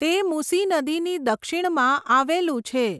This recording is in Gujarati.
તે મૂસી નદીની દક્ષિણમાં આવેલું છે.